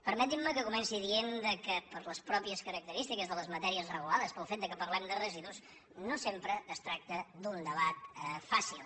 permetin·me que comenci dient que per les mateixes característiques de les matèries regulades pel fet que parlem de residus no sempre es tracta d’un debat fà·cil